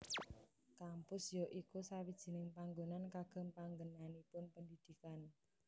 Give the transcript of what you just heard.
Kampus ya iku sawijining panggonan kagem panggenanipun pendidikan